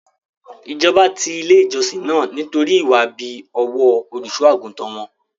Ìjọba ti ilé ìjọsìn náà nítorí ìwà ibi ọwọ́ Olùṣọ́-àgùntàn won.